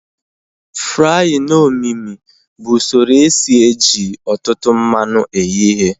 Fraaịn omimi bụ usoro esi eji ọtụtụ mmanụ eghe ihe